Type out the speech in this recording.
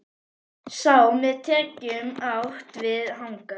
Sé með tekjum átt við hagnað?